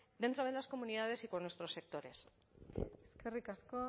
dentro de las comunidades y con nuestros sectores eskerrik asko